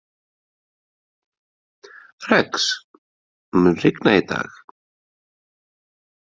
Rex, mun rigna í dag?